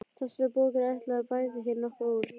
Þessari bók er ætlað að bæta hér nokkuð úr.